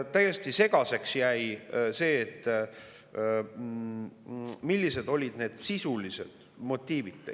Täiesti segaseks jäi see, millised olid need sisulised motiivid.